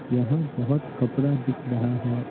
यहाँ बहुत कपड़ा दिख रहा है।